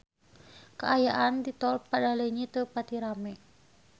Kaayaan di Tol Padaleunyi teu pati rame